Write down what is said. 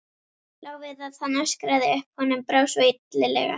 Lá við að hann öskraði upp, honum brá svo illilega.